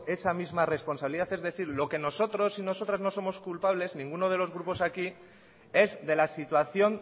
esa misma responsabilidad es decir lo que nosotros y nosotras no somos culpables ninguno de los grupos aquí es de la situación